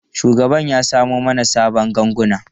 Shugaban ya samo mana sabon ganguna.